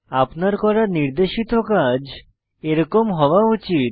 আপনার করা নির্দেশিত কাজ এরকম হওয়া উচিত